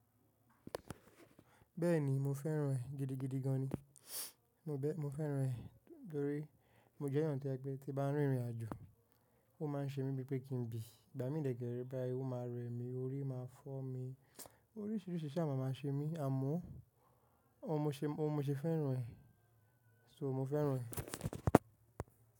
Bẹ́ẹ̀ni, mo fẹ́ràn ẹ̀ gidigidi gan ni. Mo bẹ́-- mo fẹ́ràn ẹ̀ torí mo jẹ́ ènìyàn tí ẹ̀ pé tí bá ń rin ìrìnàjò, ó máa ń ṣe mí bí pé kí n bí. Ìgbà mí dè kẹ̀rẹ̀ báyìí ó máa rẹ mí, orí máa fọ́ mí, oríṣiríṣi ṣaa máa máa ṣe mí, àmọ́ óun mo ṣe, óun mo ṣe fẹ́ràn ẹ̀. So mo fẹ́ràn ẹ̀